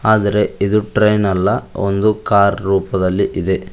ಆದರೆ ಇದು ಟ್ರೇನ್ ಅಲ್ಲ ಒಂದು ಕಾರ್ ರೂಪದಲ್ಲಿ ಇದೆ.